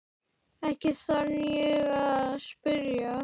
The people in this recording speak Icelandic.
Ekki þarf ég að spyrja.